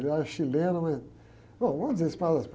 Ele era chileno, mas... Bom, vamos dizer Espanhol de Espanha.